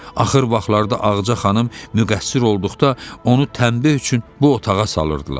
Axır vaxtlarda Ağca xanım müqəssir olduqda onu tənbih üçün bu otağa salırdılar.